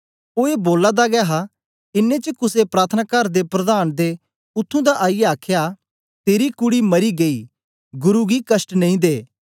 ओ ए बोला दा गै हा इन्नें च कुसे प्रार्थनाकार दे प्रधान दे उत्त्थुं दा आईयै आखया तेरी कूडी मरी गेई गुरु गी कष्ट नेई दे